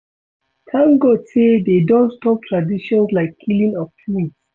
Thank God say dey don stop traditions like killing of twins